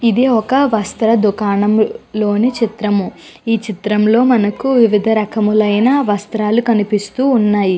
ఇది ఒక వస్త్ర దుకాణంలోని చిత్రము. ఈ చిత్రం లో మనకి వివిధ రకములైన వస్త్రల్లు కనిపుస్తూ వున్నాయ్.